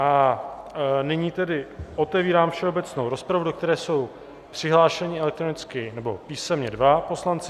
A nyní tedy otevírám všeobecnou rozpravu, do které jsou přihlášeni elektronicky nebo písemně dva poslanci.